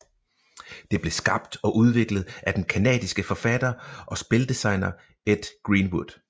Det blev skabt og udviklet af den canadiske forfatter og spildesigner Ed Greenwood